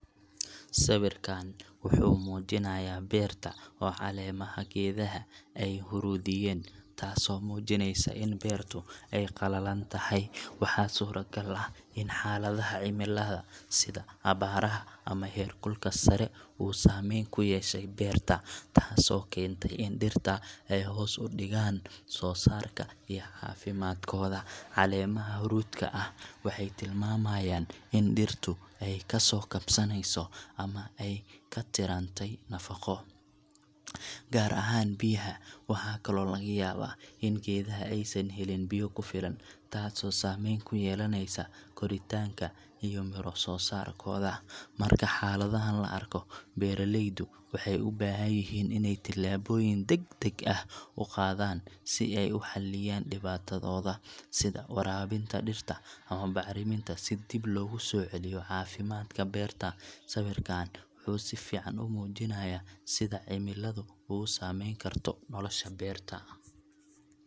Sawirkaan wuxuu muujinayaa beerta oo caleemaha geedaha ay huruudiyeen, taasoo muujinaysa in beertu ay qalalan tahay. Waxaa suuragal ah in xaaladaha cimilada sida abaaraha ama heer kulka sare uu saameyn ku yeeshay beerta, taasoo keentay in dhirta ay hoos u dhigaan soosaarka iyo caafimaadkooda. Caleemaha huruudka ah waxay tilmaamayaan in dhirtu ay ka soo kabaneyso ama ay ka tirtantay nafaqo, gaar ahaan biyaha. Waxaa kaloo laga yaabaa in geedaha aysan helin biyo ku filan, taasoo saameyn ku yeelanaysa koritaanka iyo midho-soo-saarkooda. Marka xaaladahan la arko, beeralaydu waxay u baahan yihiin inay tallaabooyin degdeg ah qaadaan si ay u xalliyaan dhibaatada, sida waraabinta dhirta ama bacriminta si dib loogu soo celiyo caafimaadka beerta. Sawirkaan wuxuu si fiican u muujinayaa sida cimiladu ugu saameyn karto nolosha beerta.